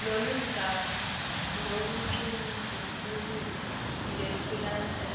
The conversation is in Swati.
loludzaba lutawucutjungulwa ngekulandzela